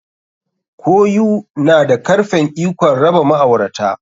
Koyu na da karfen ikon raba ma'aurata.